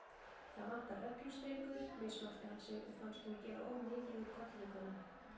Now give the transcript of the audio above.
Það vantar reglustrikur, mismælti hann sig og fannst hún gera of mikið úr kollvikunum.